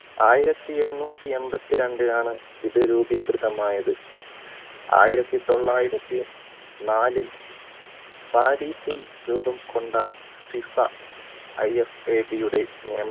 ആയിരത്തി എണ്ണൂറ്റി എൺപത്തി രണ്ടിലാണ് ഇത് രൂപീകൃതമായത് ആയിരത്തി തൊള്ളായിരത്തി നാലിൽ രൂപം കൊണ്ടാണ് fifaIFAB യുടെ